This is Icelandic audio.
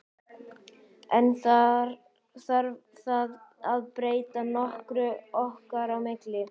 En þarf það að breyta nokkru okkar á milli?